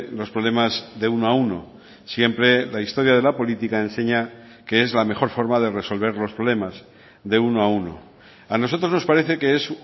los problemas de uno a uno siempre la historia de la política enseña que es la mejor forma de resolver los problemas de uno a uno a nosotros nos parece que es